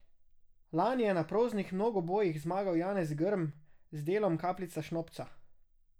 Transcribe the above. Lani je na proznih mnogobojih zmagal Janez Grm z delom Kapljica šnopca.